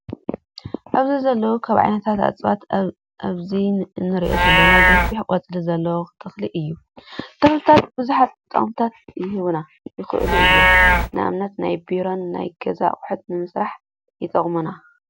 ኣብዚ ዘለው ካብ ዓይነታት እፅዋት ኣብዚ እንሪኦ ዘለና ገፊሕ ቆፅሊ ዘለዎ ተኽሊ እዩ። ተክሊታት ብዙሓት ጠቅመታት ይህቡና ይኽእሉ እዮም። ንኣብነት፦ ንናይ ቢሮን ናይ ገዛ ኣቁሑት ንምስራሕ ይጠቅሙና።